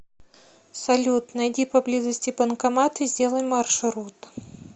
салют найди поблизости банкомат и сделай маршрут